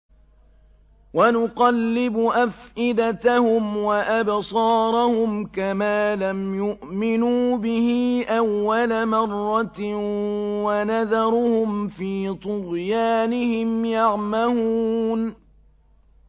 وَنُقَلِّبُ أَفْئِدَتَهُمْ وَأَبْصَارَهُمْ كَمَا لَمْ يُؤْمِنُوا بِهِ أَوَّلَ مَرَّةٍ وَنَذَرُهُمْ فِي طُغْيَانِهِمْ يَعْمَهُونَ